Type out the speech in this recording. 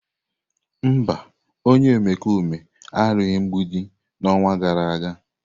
Mba, onye omekome arụghị mgbidi n'ọnwa gara aga.